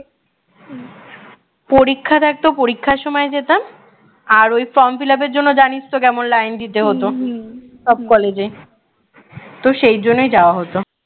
পরীক্ষা থাকত পরীক্ষার সময় যেতাম আর ওই form fillup এর জন্য জানিস তো কেমন line দিতে হত সব কলেজে তো সেই জন্য যাওয়া হত